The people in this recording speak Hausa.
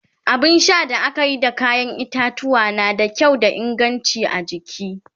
abun Sha da akayi da kayan itatuwwa na da kyau da inganci a jiki